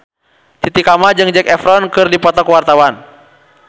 Titi Kamal jeung Zac Efron keur dipoto ku wartawan